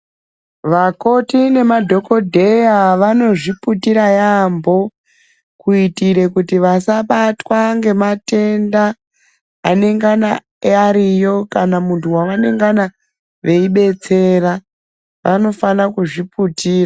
Vakoti nemadhokodheya vanozviputira yaampho, kuitire kuti ,vasabatwa ngematenda, anengana ariyo, kana muntu wavanengana veibetsera, vanofana kuzviputira.